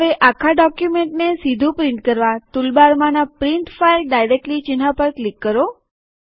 હવે અખા ડોક્યુમેન્ટને સીધું પ્રિન્ટ કરવા ટુલબારમાંના પ્રિન્ટ ફાઈલ ડાઈરેકટલી ચિહ્ન પર ક્લિક કરો